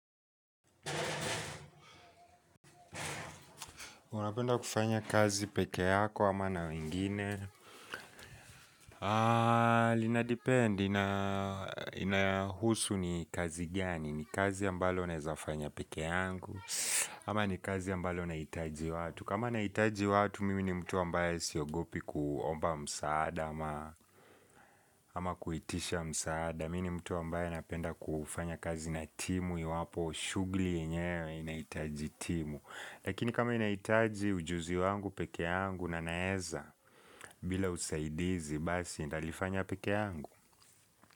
Unapenda kufanya kazi peke yako hama na wengine? Inadepend, inahusu ni kazi gani? Ni kazi ambalo naeza fanya peke yangu? Ama ni kazi ambalo naitaji watu? Kama naitaji watu, mimi ni mtu ambaye siogopi kuomba msaada ama ama kuitisha msaada. Mimi ni mtu ambaye napenda kufanya kazi na timu. Iwapo shugli yenyewe inahitaji timu. Lakini kama inaitaji ujuzi wangu pekee angu na naeza bila usaidizi basi ndalifanya peke angu.